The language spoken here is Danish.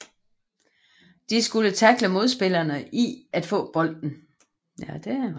De skulle tackle modspillerne i at få bolden